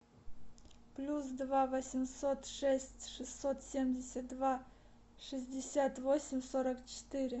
плюс два восемьсот шесть шестьсот семьдесят два шестьдесят восемь сорок четыре